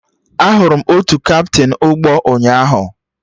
Ahụrụ m otu kaptịn ụgbọ ụnyaahụ